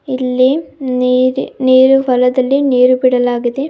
ಇಲ್ಲಿ ನೀರ್ ನೀರು ಹೊಲದಲ್ಲಿ ನೀರು ಬಿಡಲಾಗಿದೆ.